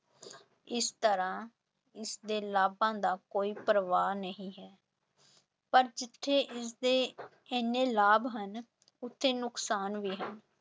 ਇਸ ਤਰ੍ਹਾਂ ਇਸਦੇ ਲਾਭਾਂ ਦਾ ਕੋਈ ਪ੍ਰਵਾਹ ਨਹੀਂ ਹੈ ਪਰ ਜਿੱਥੇ ਇਸਦੇ ਇੰਨੇ ਲਾਭ ਹਨ ਉੱਥੇ ਨੁਕਸਾਨ ਵੀ ਹਨ।